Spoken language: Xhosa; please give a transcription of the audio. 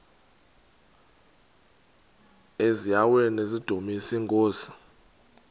eziaweni nizidumis iinkosi